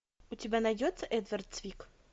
у тебя найдется эдвард цвик